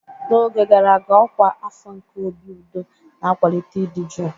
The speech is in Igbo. N'oge gara aga, ọkwa afọ nke obi udo na-akwalite ịdị jụụ.